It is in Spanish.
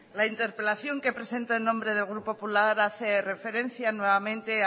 la interpelación que presento en nombre del grupo popular hace referencia nuevamente